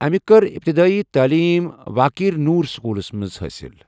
امہٕ کور ابتداءی تٲلیٖم واکیر نور سکولس مَنٛز حٲصِل.